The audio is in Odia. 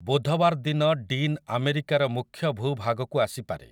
ବୁଧବାର ଦିନ ଡିନ୍ ଆମେରିକାର ମୁଖ୍ୟ ଭୂଭାଗକୁ ଆସିପାରେ ।